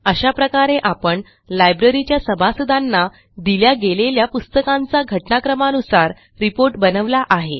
अशा प्रकारे आपण लायब्ररीच्या सभासदांना दिल्या गेलेल्या पुस्तकांचा घटनाक्रमानुसार रिपोर्ट बनवला आहे